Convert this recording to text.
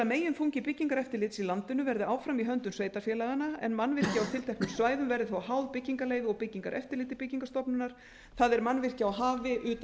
megin þungi byggingareftirlits í landinu verði áfram í höndum sveitarfélaganna en mannvirki á tilteknum svæðum verði þó háð byggingarleyfi og byggingareftirliti byggingarstofnunar það er mannvirkja á hafi utan